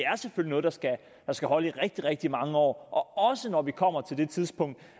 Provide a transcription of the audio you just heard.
er noget der skal holde i rigtig rigtig mange år også når vi kommer til det tidspunkt